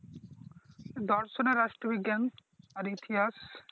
দর্শন আর রাষ্ট্র বিজ্ঞান আর ইতিহাস।